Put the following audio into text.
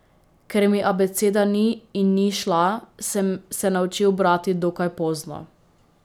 Ker mi abeceda ni in ni šla, sem se naučil brati dokaj pozno.